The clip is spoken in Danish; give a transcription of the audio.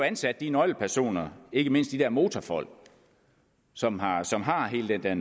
ansat de nøglepersoner ikke mindst de der motorfolk som har som har hele den der